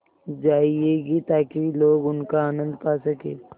जाएगी ताकि लोग उनका आनन्द पा सकें